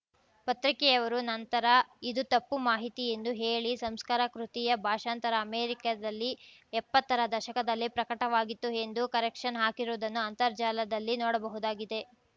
ಪತ್ರಿಕೆಯವರು ನಂತರ ಇದು ತಪ್ಪು ಮಾಹಿತಿ ಎಂದು ಹೇಳಿ ಸಂಸ್ಕಾರ ಕೃತಿಯ ಭಾಷಾಂತರ ಅಮೆರಿಕದಲ್ಲಿ ಎಪ್ಪತ್ತರ ದಶಕದಲ್ಲೇ ಪ್ರಕಟವಾಗಿತ್ತು ಎಂದು ಕರೆಕ್ಷನ್‌ ಹಾಕಿರುವುದನ್ನು ಅಂತರ್ಜಾಲದಲ್ಲಿ ನೋಡಬಹುದಾಗಿದೆ